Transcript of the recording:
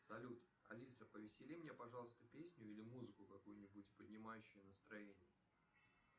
салют алиса повесели мне пожалуйста песню или музыку какую нибудь поднимающую настроение